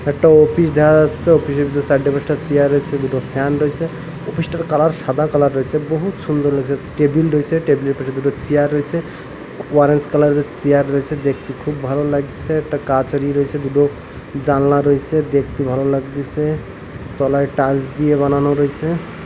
একটা অপিস দেহা যাস্যে অপিস -এ যে চাইড্যা পাঁইচডা চেয়ার রইসে দুটো ফ্যান রইসে অপিস -টার কালার সাদা কালার রইসে বহুত সুন্দর লাগসে টেবিল রয়েসে টেবিল -এর পেছনে দুটো চেয়ার রইসে অরেঞ্জ কালার -এর চেয়ার রইসে দেখতে খুব ভালো লাগতেসে একটা কাচা রইসে দুডো জানলা রইসে দেখতে ভালো লাগতেসে তলায় টাইলস দিয়ে বানানো রইসে।